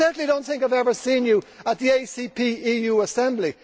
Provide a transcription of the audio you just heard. I certainly do not think I have ever seen you at the ACP EU Assembly.